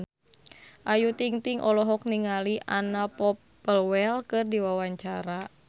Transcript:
Ayu Ting-ting olohok ningali Anna Popplewell keur diwawancara